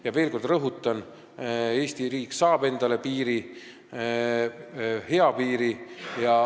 Ma veel kord rõhutan, et Eesti riik saab endale piiri, hea piiri.